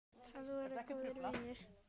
Þeir voru góðu vanir.